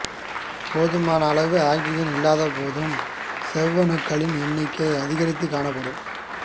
போதுமான அளவு ஆக்சிஜன் இல்லாத போதும் செவ்வணுக்களின் எண்ணிக்கை அதிகரித்துக் காணப்படும்